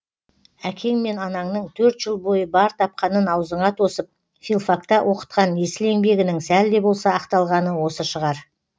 әкең мен анаңның төрт жыл бойы бар тапқанын аузыңа тосып филфакта оқытқан есіл еңбегінің сәл де болса ақталғаны осы шығар